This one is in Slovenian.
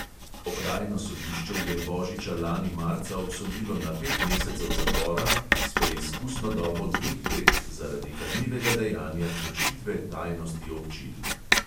Okrajno sodišče je božiča lani marca obsodilo na pet mesecev zapora s preizkusno dobo dveh let zaradi kaznivega dejanja kršitve tajnosti občil.